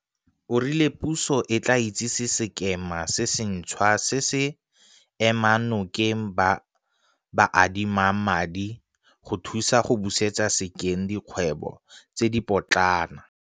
O rile puso e tla itsise sekema se sentšhwa se se emang nokeng ba ba adimang madi go thusa go busetsa sekeng dikgwebo tse dipotlana.